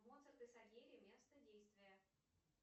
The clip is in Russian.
моцарт и сальери место действия